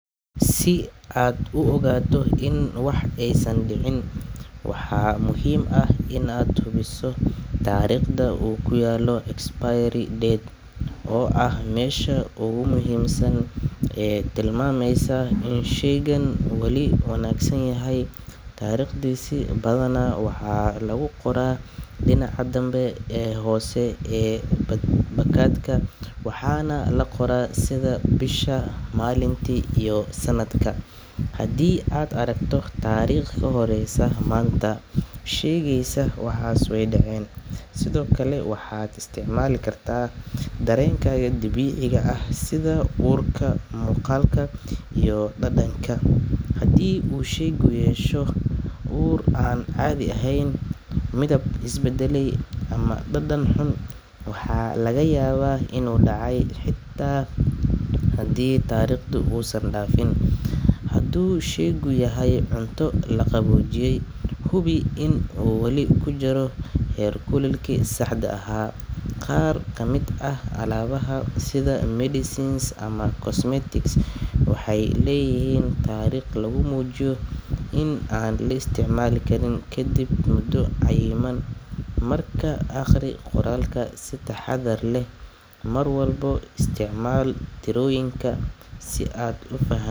Si aad u ogaato in wax aysan dhicin, waxaa muhiim ah inaad hubiso taariikhda uu ku yaallo expiry date oo ah meesha ugu muhiimsan ee tilmaamaysa in sheygu wali wanaagsan yahay. Taariikhdaasi badanaa waxaa lagu qoraa dhinaca danbe ama hoose ee baakadka, waxaana la qoraa sida bisha, maalinta iyo sanadka. Haddii aad aragto taariikh ka horeysa maanta, sheygaasi waa dhacay. Sidoo kale, waxaad isticmaali kartaa dareenkaaga dabiiciga ah sida urka, muuqaalka iyo dhadhanka. Haddii uu sheygu yeesho ur aan caadi ahayn, midab is beddelay ama dhadhan xun, waxaa laga yaabaa inuu dhacay xitaa haddii taariikhdu uusan dhaafin. Hadduu sheygu yahay cunto la qaboojiyey, hubi in uu wali ku jiro heerkulkii saxda ahaa. Qaar ka mid ah alaabaha sida medicines ama cosmetics waxay leeyihiin taariikho lagu muujiyo in aan la isticmaalin kadib muddo cayiman, markaa akhri qoraalka si taxaddar leh. Mar walba isticmaal tirooyinka si aad u fahanto.